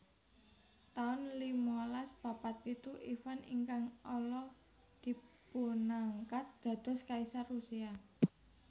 taun limalas papat pitu Ivan ingkang Ala dipunangkat dados kaisar Rusia